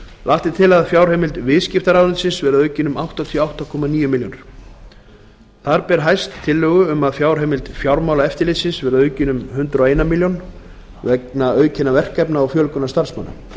lagt er til að fjárheimild viðskiptaráðuneytis verði aukin um áttatíu og átta komma níu milljónir króna ár ber hæst tillögu um að fjárheimild fjármálaeftirlitsins verði aukin um hundrað og eina milljón króna vegna aukinna verkefna og fjölgunar starfsmanna